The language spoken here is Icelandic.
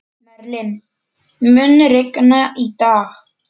Merlin, mun rigna í dag?